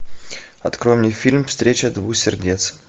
открой мне фильм встреча двух сердец